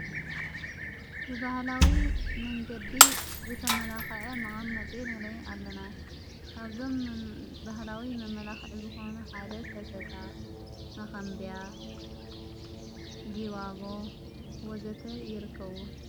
ብብሃላዊ መንገዲ ዘተመላኽዐ መቓመጥ ንሬ ኣለና ኣብዞም ብህላዊ መመላዂዕ ዘኾኑ ሓደ ሰተታ መኸንብያ ግዋቦ ወዘተ ይርክዉ።